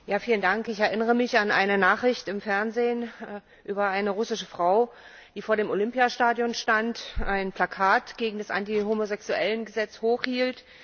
Herr Präsident! Ich erinnere mich an eine Nachricht im Fernsehen über eine russische Frau, die vor dem Olympiastadion stand und ein Plakat gegen das Anti Homosexuellen Gesetz hochhielt.